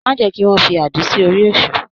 Má jẹ́ kí wọ́n fi àdí sí orí Èṣù.